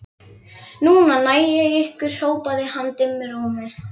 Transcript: Núna næ ég ykkur hrópaði hann dimmum rómi.